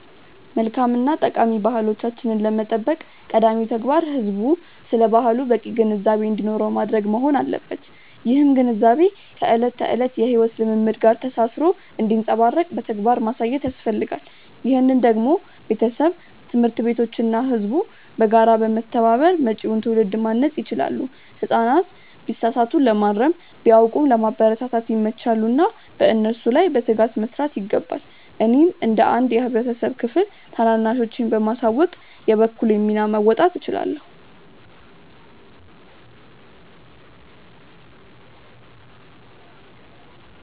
መልካም እና ጠቃሚ ባህሎቻችንን ለመጠበቅ ቀዳሚው ተግባር ህዝቡ ስለ ባህሉ በቂ ግንዛቤ እንዲኖረው ማድረግ መሆን አለበት። ይህም ግንዛቤ ከዕለት ተዕለት የሕይወት ልምምድ ጋር ተሳስሮ እንዲንጸባረቅ በተግባር ማሳየት ያስፈልጋል። ይህንን ደግሞ ቤተሰብ፣ ትምህርት ቤቶች እና ህዝቡ በጋራ በመተባበር መጪውን ትውልድ ማነጽ ይችላሉ። ህጻናት ቢሳሳቱ ለማረም፣ ቢያውቁም ለማበረታታት ይመቻሉና በእነሱ ላይ በትጋት መስራት ይገባል። እኔም እንደ አንድ የህብረተሰብ ክፍል ታናናሾቼን በማሳወቅ የበኩሌን ሚና መወጣት እችላለሁ።